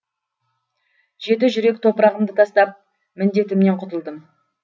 жеті жүрек топырағымды тастап міндетімнен құтылдым